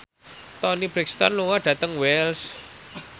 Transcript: Toni Brexton lunga dhateng Wells